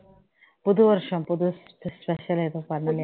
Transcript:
புது வருஷம் புது வருசத்துக்கு special ஆ எதுவும் பண்ணலையா